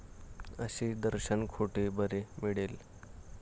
असे दर्शन कोठे बरे मिळेल?